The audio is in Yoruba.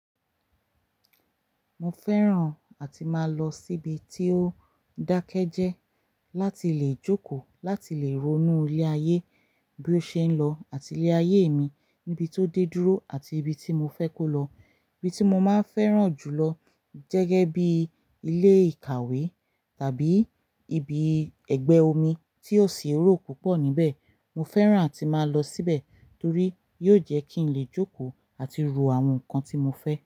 Mo fẹ́ràn àti máa lọ síbi tí ó dákẹ́ jẹ́ láti lè jókòó, láti lè ronú ilé ayé bí ó ṣe ń lọ àti ilé ayé mi níbi tó dé dúró àti ibi tí mo fẹ́ kó lọ. Ibi tí mo máa ń fẹ́ràn jù lọ jẹ́gẹ́ bí ilé ìkàwé tàbí ibi ẹgbẹ́ omi tí ó si eró púpọ̀ níbẹ̀. Mo fẹ́ràn àti máa lọ síbẹ̀ torí yóò jẹ́ kí n lè jókòó àti ro àwọn nǹkan tí mo fẹ́